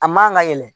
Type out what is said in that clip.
A man ka yɛlɛ